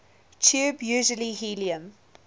tube usually helium